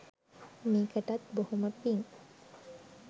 මේකටත් බොහොම පිං.